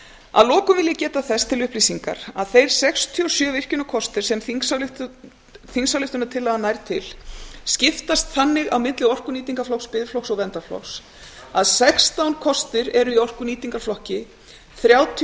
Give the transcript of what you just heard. að lokum vil ég geta þess til upplýsingar að þeir sextíu og sjö virkjunarkostir sem þingsályktunartillagan nær til skiptast þannig á milli orkunýtingarflokks biðflokks og verndarflokks að sextán kostir eru í orkunýtingarflokki þrjátíu